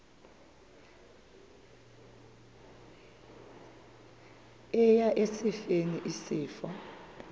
eya esifeni isifo